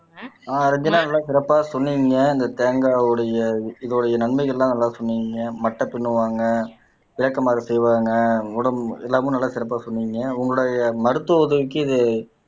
ஆஹ் ரஞ்சனா நல்லா சிறப்பா சொன்னீங்க இந்த தேங்காய் உடைய இதோடைய நன்மைகள் எல்லாம் நல்லா சொன்னீங்க மட்டை பின்னுவாங்க விளக்கமாறு செய்வாங்க உடம்எல்லாமே நல்லா சிறப்பா சொன்னீங்க உங்களுடைய மருத்துவ உதவிக்கு இது